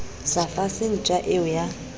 sa fase ntja eo ya